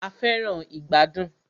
A fẹràn ìgbàdùn.